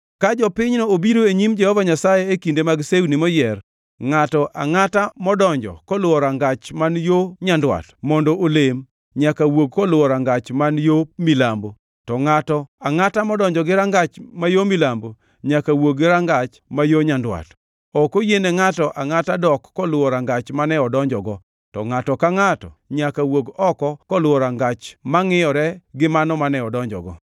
“ ‘Ka jopinyno obiro e nyim Jehova Nyasaye e kinde mag sewni moyier, ngʼato angʼata modonjo koluwo rangach man yo nyandwat mondo olem nyaka wuog koluwo rangach man yo milambo; to ngʼato angʼata modonjo gi rangach ma yo milambo nyaka wuogi gi rangach ma yo nyandwat. Ok oyiene ngʼato angʼata dok koluwo rangach mane odonjogo, to ngʼato ka ngʼato nyaka wuog oko koluwo rangach mangʼiyore gi mano mane odonjogo.